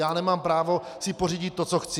Já nemám právo si pořídit to, co chci?